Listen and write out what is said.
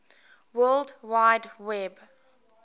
world wide web